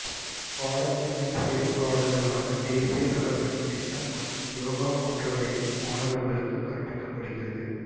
பாடத்துணை செயல்காடுகளான தேசிய நலப்பணி திட்டம் மற்றும் யோகா போன்றவையும் மாணவா்களுக்கு கற்பிக்கப்படுகிறது